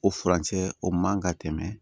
O furancɛ o man ka tɛmɛ